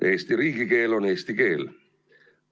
Eesti riigikeel on eesti keel.